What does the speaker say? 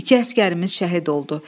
İki əsgərimiz şəhid oldu.